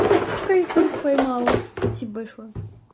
кайфурик поймала спасибо большое